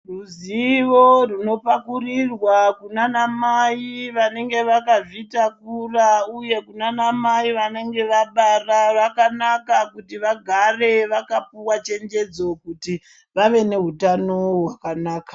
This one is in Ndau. Ruzivo runopakurirwa kunana mai vanonga vakazvitakura uye kunana mai vanenge vabara vakanaka kuti vagare vakapuwa chenjedzo kuti vave neutano hwakanaka.